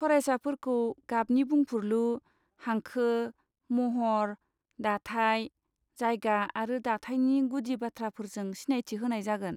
फरायसाफोरखौ गाबनि बुंफुरलु, हांखो, महर, दाथाय, जायगा आरो दाथायनि गुदि बाथ्राफोरजों सिनायथि होनाय जागोन।